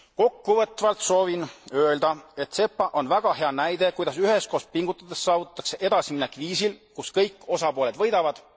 Kokkuvõtvalt soovin öelda, et SEPA on väga hea näide, kuidas üheskoos pingutades saavutatakse edasiminek viisil, kus kõik osapooled võidavad.